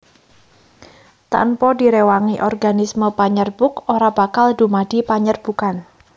Tanpa direwangi organisme panyerbuk ora bakal dumadi panyerbukan